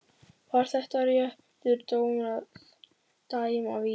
Var þetta réttur dómur að dæma vítið?